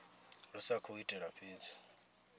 ri sa khou itela fhedzi